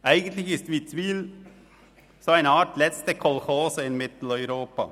Eigentlich ist Witzwil eine Art letzte Kolchose in Mitteleuropa.